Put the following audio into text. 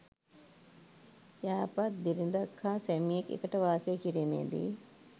යහපත් බිරිඳක් හා සැමියෙක් එකට වාසය කිරීමේ දී